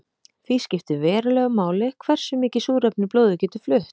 Því skiptir verulegu máli hversu mikið súrefni blóðið getur flutt.